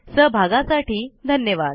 सहभागासाठी धन्यवाद